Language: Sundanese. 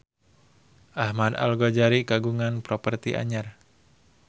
Ahmad Al-Ghazali kagungan properti anyar